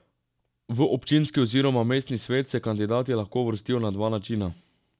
V občinski oziroma mestni svet se kandidati lahko uvrstijo na dva načina.